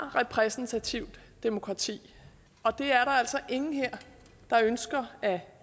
repræsentativt demokrati og det er altså ingen her der ønsker at